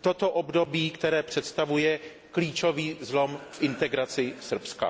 toto období, které představuje klíčový zlom v integraci Srbska.